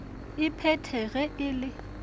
e phethe ge e le